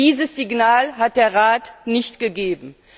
Dieses Signal hat der Rat nicht gegeben.